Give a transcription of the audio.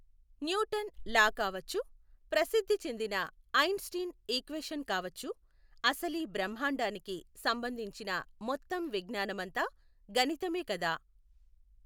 Newton law కావొచ్చు, ప్రసిద్ధి చెందిన ఐన్ స్టీన్ ఈక్వేషన్ కావొచ్చు, అసలీ బ్రహ్మాండానికి సంబంధించిన మొత్తం విజ్ఞానమంతా గణితమే కదా.